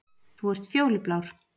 Þú ert fjólublár